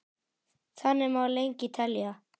Þannig má lengi telja.